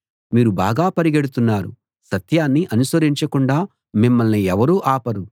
మీరు బాగా పరిగెడుతున్నారు సత్యాన్ని అనుసరించకుండా మిమ్మల్ని ఎవరు ఆపారు